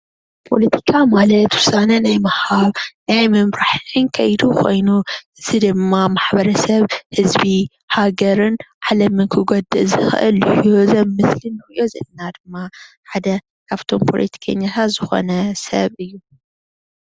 ፖለቲካ ማለት ዉሳነ ናይ ምሃብን ናይ ምምራሕን ከይዲ ኮይኑ እዚ ድማ ማሕበረሰብ ህዝቢ ሃገርን ዓለምን ክጎድእ ዝክእል እዚ ኣብ ምስሊ ንሪኦ ዘለና ድማ ሓደ ካብቶም ፕለቲከኛታት ዝኮነ ሰብ እዩ።